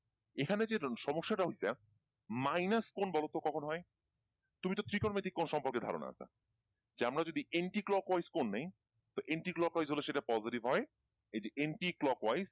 এখানে যে সমস্যাটা হয়েছে minus কোণ বলতো কখন হয়? তুমি তো ত্রিকোণমিতিক কোণ সম্পর্কে ধারণা আছে যে আমরা যদি anti-clockwise কোণ নেই তো anti-clockwise হলে সেটা positive হয় এইযে anti-clockwise